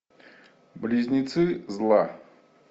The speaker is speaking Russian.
близнецы зла